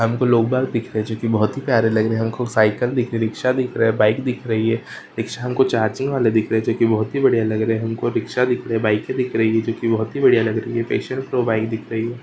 हमको पिक जोकी बहुती प्यारे लगराहा हे हमको साइकिल दिखराहा हे रिक्शा दिखराहा हे बाइक दिखराहा हे रिक्शा हमको चार्जिंग वाले दिखराहा हे जोकी बहुती बढ़िया लगराहा हे हमको साइकिल दिखराहा हे रिक्शा डिकराहा हे बाइक